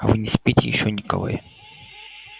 а вы не спите ещё николай